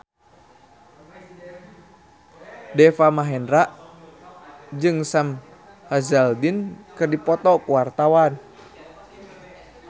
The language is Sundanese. Deva Mahendra jeung Sam Hazeldine keur dipoto ku wartawan